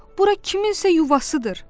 bura kimsənin yuvasıdır.